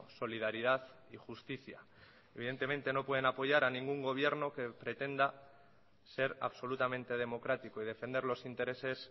solidaridad y justicia evidentemente no pueden apoyar a ningún gobierno que pretenda ser absolutamente democrático y defender los intereses